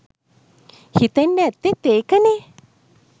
හිතෙන්ඩ ඇත්තෙත් ඒකනේ